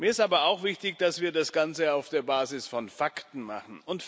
Mir ist aber auch wichtig, dass wir das Ganze auf der Basis von Fakten machen.